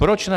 Proč ne?